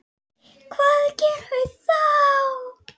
Hvað gerum við þá?